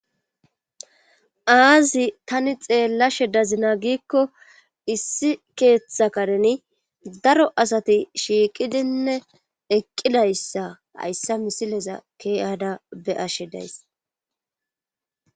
Aazi tani xeellashe dazina giikko issi keeththa kareni daro asati shiiqidinne eqqidayssa hayssa misileza keeyada be ashe days